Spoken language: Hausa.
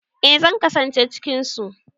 Eh zan kasance cikin su.